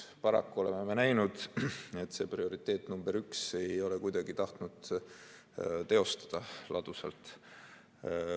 Paraku oleme näinud, et see prioriteet number üks ei ole kuidagi tahtnud ladusalt teostuda.